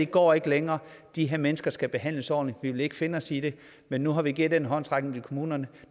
går ikke længere de her mennesker skal behandles ordentligt vi vil ikke finde os i det men nu har vi givet den håndsrækning til kommunerne